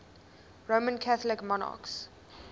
roman catholic monarchs